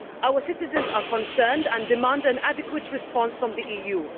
Our citizens are concerned and demand an adequate response from the EU.